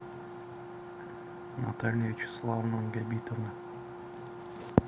наталья вячеславовна габитова